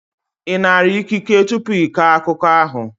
Ị nara ikike tupu ị kọọ akụkọ ahụ?